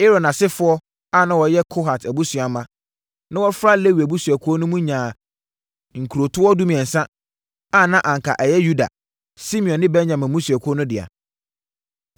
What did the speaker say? Aaron asefoɔ a na wɔyɛ Kohat abusua mma, na wɔfra Lewi abusuakuo mu no nyaa nkurotoɔ dumiɛnsa a na anka ɛyɛ Yuda, Simeon ne Benyamin mmusuakuo no dea.